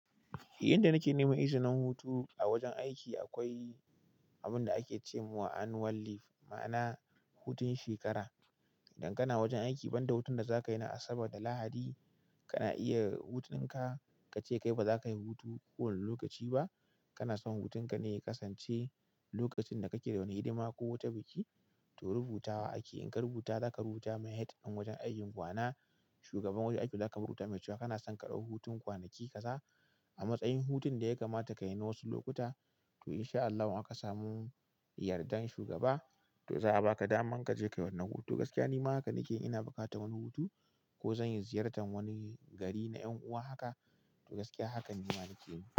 Idan nake neman izinin hutu a wajen aiki, akwai abin da ake ce wa annual leave, ma'ana hutun shekara. Idan kana wajen aiki, banda hutun da za ka yi na Asabar da Lahadi, kana iya da hutun ka ka ce kai ba za ka yi hutu kowane lokaci ba. Kana son hutun ka ne ya kasance lokacin da kake da wani hidima ko wata biki, to rubuta wa aiki. In ka rubuta, za ka rubuta ma head ɗin wajen aikin ku ma'ana shugaban wajen aikin. Za ka rubuta mai cewa kana son ka ɗau hutun kwanaki kaza a matsayin hutun da ya kamata ka yi na wasu lokuta. Insha Allahu in aka samu yardan shugaba to za a baka damar kaje kayi wannan hutun to gaskiya nima haka nake in ina buƙatar wani hutu ko zanyi ziyartar wani gari na ƴan uwa haka to gaskiya haka nima nake.